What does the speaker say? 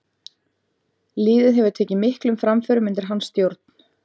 Liðið hefur tekið miklum framförum undir hans stjórn.